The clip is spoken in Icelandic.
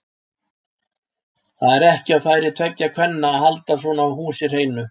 Það er ekki á færi tveggja kvenna að halda svona húsi hreinu.